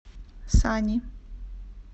сани